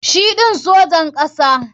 Shi ɗin Sojin kasa.